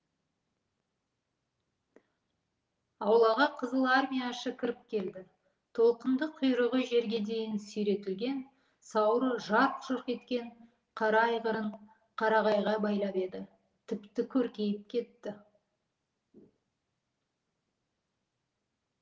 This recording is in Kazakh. аулаға қызылармияшы кіріп келді толқынды құйрығы жерге дейін сүйретілген сауыры жарқ жұрқ еткен қара айғырын қарағайға байлап еді тіпті көркейіп кетті